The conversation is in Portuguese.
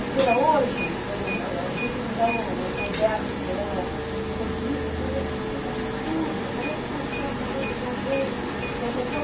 Até hoje, eu eh às vezes eu me converso com ela sobre isso, eu falo, mas que coisa absurda, como é que funciona a cabeça de alguém dessas